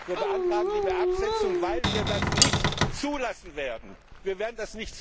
Wir beantragen die Absetzung, weil wir das nicht zulassen werden.